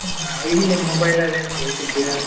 ನಾವಿಲ್ಲೆ mobile ಅಲ್ಲೇ ನೋಡುದು ಸಿಕ್ಕಿದ್ದನ್ನು.